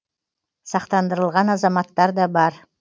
сақтандырылған азаматтар да бар